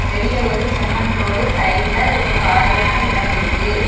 வெளிய ஒரு செம்மண் ரோடு சைடுல ஒரு காலியான எடோ இருக்கு.